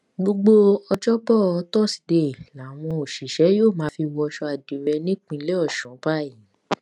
gbogbo ọjọ́bọ̀ tọsídeè làwọn òṣìṣẹ yóò fi máa wọṣọ àdírẹ nípínlẹ ọ̀ṣun báyìí